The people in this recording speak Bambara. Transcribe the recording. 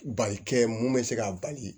Balike mun bɛ se k'a bali